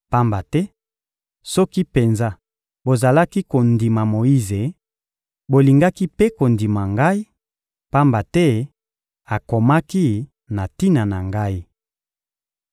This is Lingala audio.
Pamba te, soki penza bozalaki kondima Moyize, bolingaki mpe kondima Ngai; pamba te akomaki na tina na Ngai.